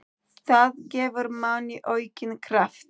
Það gefur manni aukinn kraft.